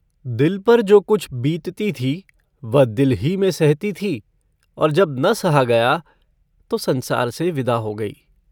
दिल पर जो कुछ बीतती थी वह दिल ही में सहती थी और जब न सहा गया तो संसार से विदा हो गयी।